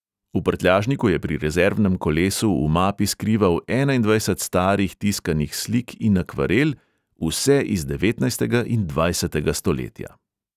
V prtljažniku je pri rezervnem kolesu v mapi skrival enaindvajset starih tiskanih slik in akvarel, vse iz devetnajstega in dvajsetega stoletja.